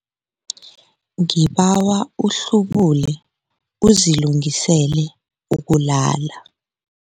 Ngibawa uhlubule uzilungiselele ukulala.